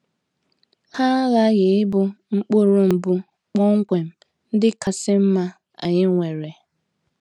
Ha aghaghị ịbụ mkpụrụ mbụ kpọmkwem ndị kasị mma anyị nwere.